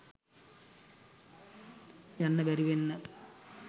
යන්න බැරි වෙන්න